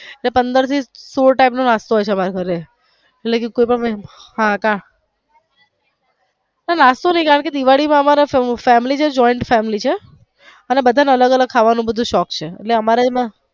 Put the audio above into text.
એટલે કે પંદર થી સોળ type નો નાસ્તો હોઈ છે અમારી ઘરે એટલે કે કોઈ પણ નાસ્તો નાઈ એટલે દિવાળી પાર અમારે અમારા joint family છે એટલે બધા ને અલગ અલગ ખાવાનો બધો શોખ છે. એટલે અમારે એમાં.